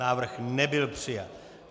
Návrh nebyl přijat.